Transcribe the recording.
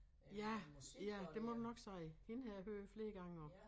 Ja ja det må du nok sige hende har jeg hørt flere gange også